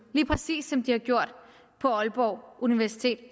præcis som de har gjort på aalborg universitet